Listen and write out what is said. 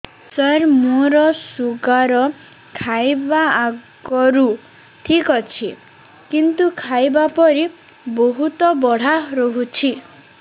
ସାର ମୋର ଶୁଗାର ଖାଇବା ଆଗରୁ ଠିକ ଅଛି କିନ୍ତୁ ଖାଇବା ପରେ ବହୁତ ବଢ଼ା ରହୁଛି